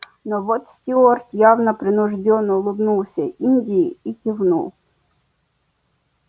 но вот стюарт явно принуждённо улыбнулся индии и кивнул